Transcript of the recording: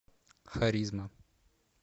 харизма